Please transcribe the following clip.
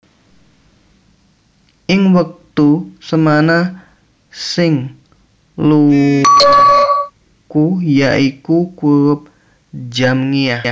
Ing wektu semana sing lumaku yaiku kurup Jamngiah